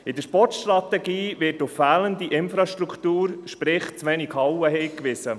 In der Sportstrategie wird auf fehlende Infrastruktur, sprich auf zu wenig Hallen, hingewiesen.